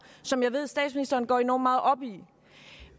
som jeg ved statsministeren går enormt meget op i